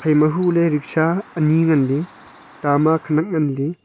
ema huley ricksha ani nganley ta ma khenak nganley.